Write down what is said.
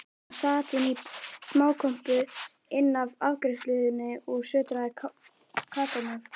Hann sat inní smákompu innaf afgreiðslunni og sötraði kakómjólk.